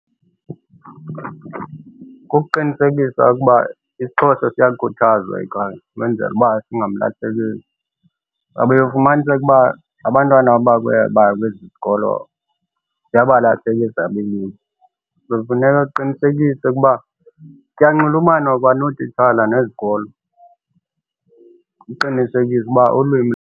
Kukuqinisekisa ukuba isiXhosa siyakhuthazwa ekhaya ukwenzele uba singamlahlekeli. Kuba uye ufumaniseke uba abantwana aba kwezi zikolo siyabalahleka ezabo iilwimi. So, funeka kuqinisekise ukuba kuyanxulumanwa kwanootitshala nezikolo uqinisekisa uba ulwimi.